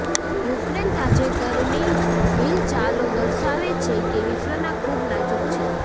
Ukraine તાજેતરની હિલચાલો દર્શાવે છે કે વિશ્વના ખૂબ નાજુક છે